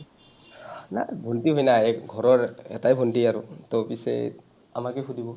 নাই, ভণ্টী হয় না, এই ঘৰৰ এটাই ভণ্টী আৰু। to পিছে আমাকে সুধিব,